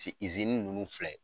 izini ninnu filɛ.